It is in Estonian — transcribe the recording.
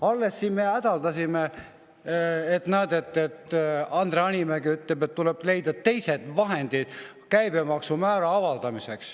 Alles me siin hädaldasime, ka Andre Hanimägi ütles, et tuleb leida teised vahendid, mitte käibemaksumäära alandada.